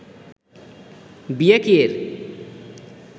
বিয়া কিয়ের